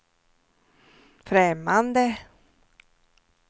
främmande